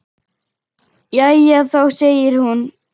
Jæja þá, segir hún.